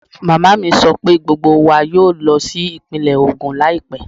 Màmá mi sọ pé gbogbo wa yóò lọ sí ìpínlẹ̀ Ogun láìpẹ́